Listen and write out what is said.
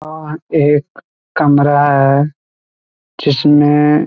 और एक कमरा है जिसमें --